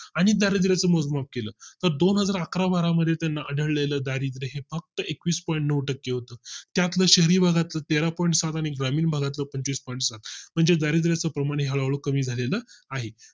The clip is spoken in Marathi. आणि दारिद्रच चं मोजमाप केलं तर दोन हजार अकरा बारा मध्ये त्यांना दारिद्र आढळले हे फक्त एकवीस point नऊ टक्के होत त्यात ल शहरी भागातील तेरा point सात आणि ग्रामीण भागातील पंचवीस point सात म्हणजेच दारिद्याचे प्रमाणे हळू कमी झालेलं आहे